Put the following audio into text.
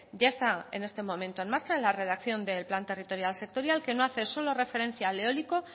ya está en este momento en marcha en la redacción del plan territorial sectorial que no hace solo referencia al eólico